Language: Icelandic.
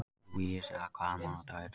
Lúísa, hvaða mánaðardagur er í dag?